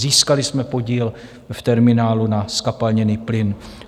Získali jsme podíl v terminálu na zkapalněný plyn.